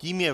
Tím je